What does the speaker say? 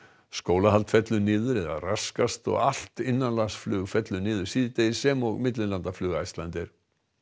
skólahald fellur niður eða raskast og allt innanlandsflug fellur niður síðdegis sem og millilandaflug Icelandair